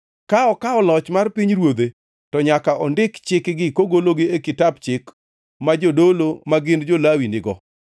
Ka okawo loch mar pinyruodhe, to nyaka ondik chikgi kogologi e kitap chik ma jodolo ma gin jo-Lawi nigo.